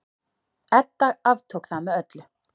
Edda aftók það með öllu.